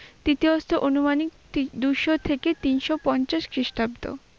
তৃতীয় স্তর অনুমানিক তি- দুশো থেকে তিনশো পঞ্চাশ খ্রীষ্টাব্দ।